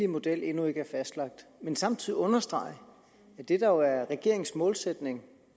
model endnu ikke er fastlagt men samtidig understrege at det der jo er regeringens målsætning